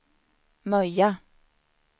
Möja